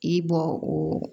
I bɔ o